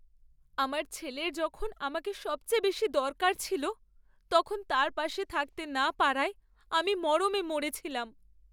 আমার ছেলের যখন আমাকে সবচেয়ে বেশি দরকার ছিল, তখন তার পাশে থাকতে না পারায় আমি মরমে মরে ছিলাম।